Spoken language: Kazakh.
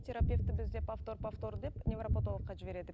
терапевті біздер повтор повтор деп невропотологқа жібереді